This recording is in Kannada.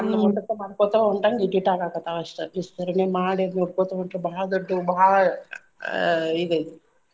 ಅದ್ನ ಮಾಡ್ಕೊತ ಹೊಂಟಂಗ ಇಟಿಟ ಆಗಾಕತ್ತಾವ ಅಷ್ಟ ವಿಸ್ತರಣೆ ಮಾಡಿ ಅದ್ ನೋಡ್ಕೊತ ಹೊಂಟ್ರ ಬಾಳ ದೊಡ್ಡು ಬಾಳ ಆಹ್ ಇದ್ ಐತಿ.